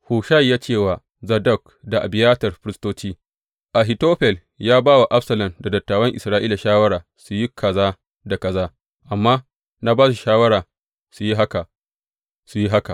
Hushai ya ce wa Zadok da Abiyatar, firistoci, Ahitofel ya ba wa Absalom da dattawan Isra’ila shawara su yi kaza da kaza, amma na ba su shawara su yi haka, su yi haka.